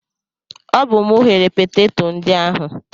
Ọ bụ mụ ghere peteto ndị ahụ.